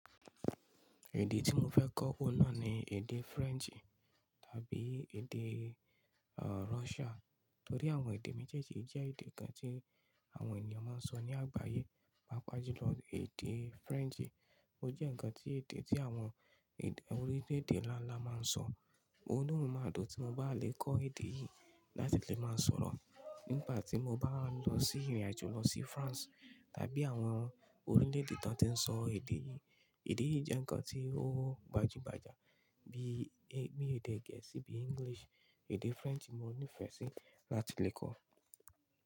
Èdè tí mo fẹ́ kọ́ náà ni èdè French tàbí èdè Russia. Nítorí àwọn èdè méjèèjì jẹ́ èdè kan tí àwọn ènìyàn máa ń sọ ní àgbáyé. Pàápàá jù lọ, èdè French o jẹ́ ǹkan tí èdè tí àwọn orílẹ̀èdè ńlá ńlá máa ń sọ. Inu mí ma dùn tí mo bá lè kọ́ èdè yìí láti lè máa sọ̀rọ̀ nígbà tí mo bá ń lọ sí ìrìnàjò lọ sí France tàbí àwọn orílẹ̀èdè tí wọ́n ti ń sọ èdè yìí. Èdè yìí jẹ́ ǹkan tí ó gbajúgbajà bí i èdè Gẹ̀ẹ́sì bí i English. Èdè French ni mo ní ìfẹ́ sí láti lè kọ́.